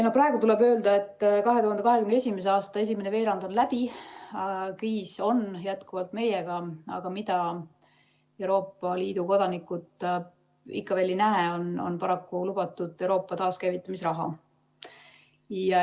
Praegu tuleb öelda, et 2021. aasta esimene veerand on läbi, kriis on jätkuvalt meiega, aga mida Euroopa Liidu kodanikud paraku ikka veel ei näe, on lubatud Euroopa taaskäivitamise raha.